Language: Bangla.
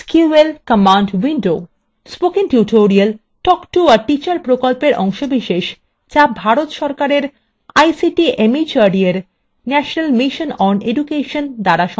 spoken tutorial talk to a teacher প্রকল্পের অংশবিশেষ যা ভারত সরকারের ict mhrd এর national mission on education দ্বারা সমর্থিত